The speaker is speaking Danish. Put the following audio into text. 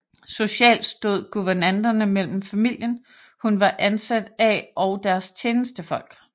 Socialt stod guvernanterne mellem familien hun var ansat af og deres tjenestefolk